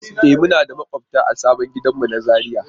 E, muna da maƙwabta a sabon gidanmu a Zariya.